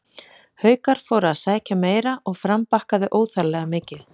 Haukar fóru að sækja meira og Fram bakkaði óþarflega mikið.